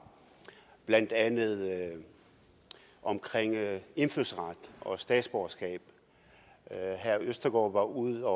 blandt andet omkring indfødsret og statsborgerskab herre morten østergaard var ude